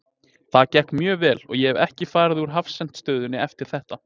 Það gekk mjög vel og ég hef ekkert farið úr hafsent stöðunni eftir þetta.